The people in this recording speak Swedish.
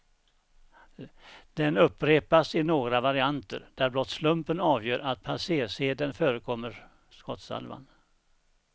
Den upprepas i några varianter, där blott slumpen avgör att passersedeln förekommer skottsalvan.